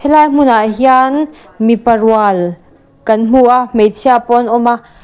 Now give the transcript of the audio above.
helai hmunah hian mipa rual kan hmu a hmeichhia pawh an awm a.